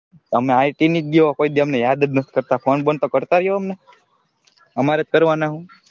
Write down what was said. તમે IT ની દીઓ કોઈ દી અમને યાદ નથી કરતાં ફોન બોન તો કરતાં રીઓ અમને અમારે જ કરવાના હોય,